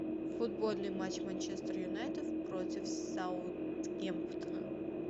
футбольный матч манчестер юнайтед против саутгемптона